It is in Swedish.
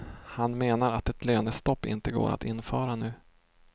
Han menar att ett lönestopp inte går att införa nu.